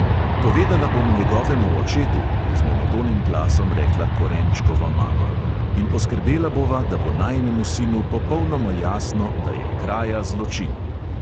"Povedala bom njegovemu očetu," je z monotonim glasom rekla korenčkova mama, "in poskrbela bova, da bo najinemu sinu popolnoma jasno, da je kraja zločin."